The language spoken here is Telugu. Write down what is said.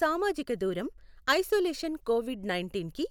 సామజిక దూరం, ఐసొలేషన్ కోవిడ్ నైన్టీన్కి